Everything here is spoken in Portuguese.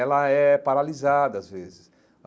Ela é paralisada às vezes.